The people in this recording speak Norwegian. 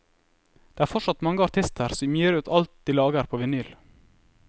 Det er fortsatt mange artister som gir ut alt de lager på vinyl.